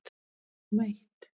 Nema eitt.